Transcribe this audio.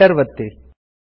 Enter ಒತ್ತಿರಿ